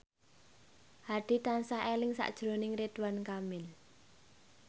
Hadi tansah eling sakjroning Ridwan Kamil